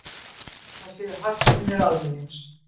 Það séu hagsmunir almennings